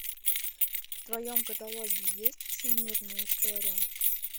в твоем каталоге есть всемирная история